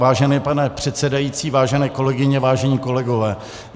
Vážený pane předsedající, vážené kolegyně, vážení kolegové.